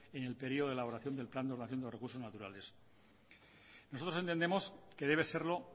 en el periodo de elaboración del plan de ordenación de los recursos naturales nosotros entendemos que debe serlo